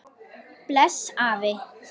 Bless afi.